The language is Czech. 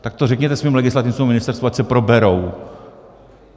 Tak to řekněte svým legislativcům na ministerstvu, ať se proberou.